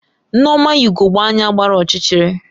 Nneoma yi ugogbe anya gbara ọchịchịrị